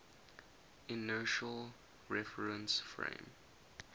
inertial reference frame